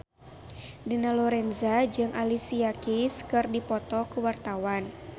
Dina Lorenza jeung Alicia Keys keur dipoto ku wartawan